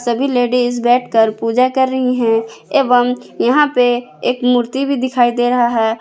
सभी लेडिस बैठकर पूजा कर रही है एवं यहां पे एक मूर्ति भी दिखाई दे रहा है।